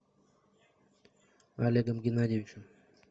олегом геннадьевичем